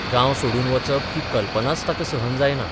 गांव सोडून वचप ही कल्पनाच ताका सहन जायना.